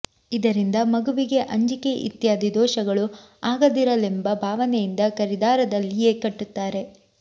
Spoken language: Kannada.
ಇದರಿಂದ ಮಗುವಿಗೆ ಅಂಜಿಕೆ ಇತ್ಯಾದಿ ದೋಷಗಳು ಆಗದಿರಲೆಂಬ ಭಾವನೆಯಿಂದ ಕರಿದಾರದಲ್ಲಿಯೇ ಕಟ್ಟುತ್ತಾರೆ